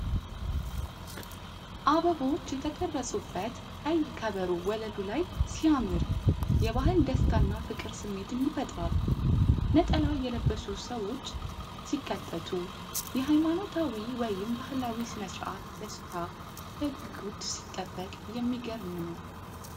አበቦች የተቀረጹበት ቀይ ከበሮ ወለሉ ላይ ሲያምር፣ የባህል ደስታና ፍቅር ስሜትን ይፈጥራል። ነጠላ የለበሱ ሰዎች ሲከተቱ፣ የሃይማኖታዊ ወይም ባህላዊ ሥነ-ሥርዓት ደስታ በጉጉት ሲጠበቅ የሚገርም ነው።